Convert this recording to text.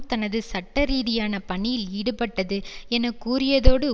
தனது சட்டரீதியான பணியில் ஈடுபட்டது என கூறியதோடு